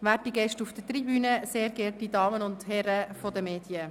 werte Gäste auf der Tribüne, sehr geehrte Damen und Herren von den Medien.